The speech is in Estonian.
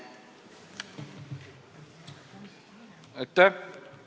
Aitäh!